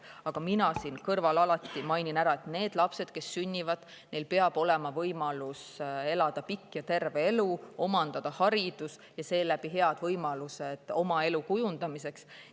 Aga mina siin kõrval alati mainin ära, et neil lastel, kes sünnivad, peab olema võimalik elada pikk ja terve elu, omandada haridus ja seeläbi saada head võimalused oma elu kujundamiseks.